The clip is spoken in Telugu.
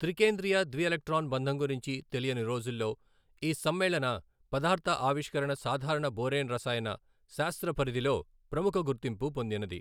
త్రికేంద్రియ ద్విఎలక్ట్రాన్ బంధం గురించి తెలియని రోజుల్లో ఈ సమ్మేళన పదార్థ ఆవిష్కరణ సాధారణ బొరేన్ రసాయన శాస్త్రపరిధిలో ప్రముఖ గుర్తింపు పొందినది.